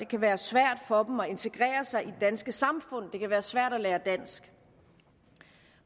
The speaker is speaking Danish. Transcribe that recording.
kan være svært for indvandrerbørn at integrere sig i det danske samfund det kan være svært at lære dansk